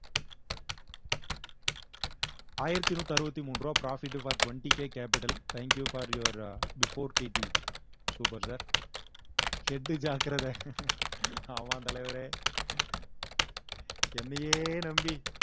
ஆயிரத்தி நூத்து அறுவத்தி மூன்று ரூபாய் profit for twenty K capital thank you for your before T T super sir head ஜாக்கிரதை ஆமாம் தலைவரே என்னையே நம்பி